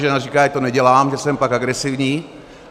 Žena říká, ať to nedělám, že jsem pak agresivní.